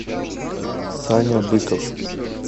саня быков